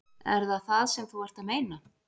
Er það það sem þú ert að meina?